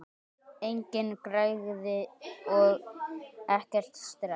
Engin græðgi og ekkert stress!